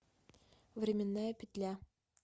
временная петля